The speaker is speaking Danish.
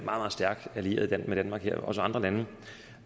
meget stærk allieret med danmark det gælder også andre lande